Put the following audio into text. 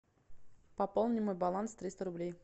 пополни мой баланс триста рублей